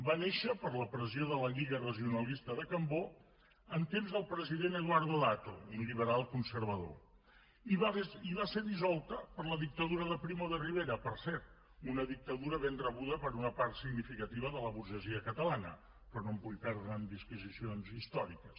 va néixer per la pressió de la lliga regionalista de cambó en temps del president eduardo dato un liberalconservador i va ser dissolta per la dictadura de primo de rivera per cert una dictadura ben rebuda per una part significativa de la burgesia catalana però no em vull perdre en disquisicions històriques